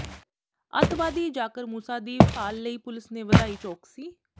ਅੱਤਵਾਦੀ ਜਾਕਿਰ ਮੂਸਾ ਦੀ ਭਾਲ ਲਈ ਪੁਲਿਸ ਨੇ ਵਧਾਈ ਚੌਕਸੀ